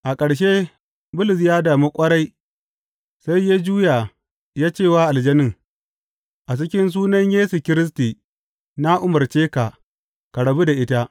A ƙarshe Bulus ya damu ƙwarai sai ya juya ya ce wa aljanin, A cikin sunan Yesu Kiristi na umarce ka, ka rabu da ita!